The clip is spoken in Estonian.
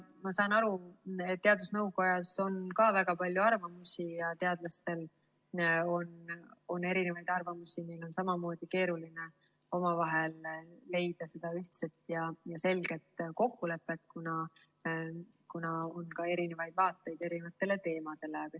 Ma saan aru, et teadusnõukojas on ka väga palju arvamusi ja teadlastel on erinevaid arvamusi, neil on samamoodi keeruline leida ühtset ja selget kokkulepet, kuna neil on ka erinevaid vaateid eri teemadele.